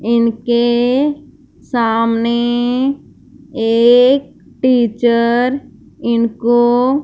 इनके सामने एक टीचर इनको--